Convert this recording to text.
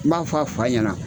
N b'a fɔ a fa ɲɛna